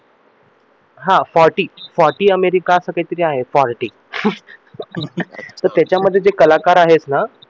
हा forty forty America असं काहीतरी आहे forty तर त्याच्यामध्ये जे कलाकार आहेत ना